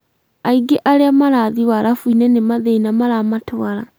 Aingĩ a arĩa marathiĩ warabu-inĩ nĩ mathĩna maramatwara